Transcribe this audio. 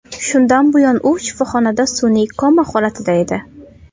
Shundan buyon u shifoxonada sun’iy koma holatida edi.